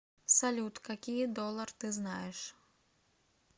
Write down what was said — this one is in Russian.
салют какие доллар ты знаешь